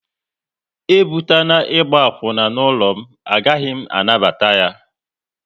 E bubatana ịgba akwuna n'ụlọ m, a gaghị m anabata ya!